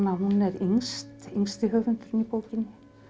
hún er yngsti höfundurinn í bókinni